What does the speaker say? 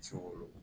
Segu olu